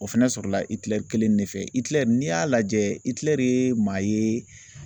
O fɛnɛ sɔrɔla kelen de fɛ n'i y'a lajɛ ye maa ye